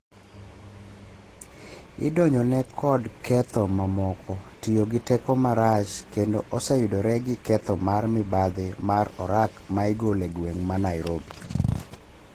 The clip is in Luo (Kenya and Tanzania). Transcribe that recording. I donjone kod ketho mamoko, tiyo gi teko marach, kendo oseyudore gi ketho mar mibadhi mar orak maigolo e gweng' ma Nairobi